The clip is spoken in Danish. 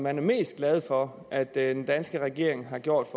er mest glade for at den danske regering har gjort